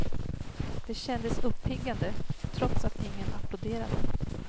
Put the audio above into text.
Det kändes uppiggande, trots att ingen applåderade.